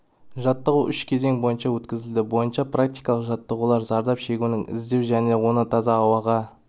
жаттығу үш кезең бойынша өткізілді бойынша практикалық жаттығулар зардап шегушіні іздеу және оны таза ауаға